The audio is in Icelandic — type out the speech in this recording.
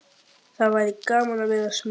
Hvað það væri gaman að vera smiður.